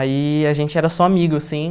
Aí a gente era só amigo, assim.